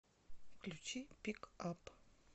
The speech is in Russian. включи пик ап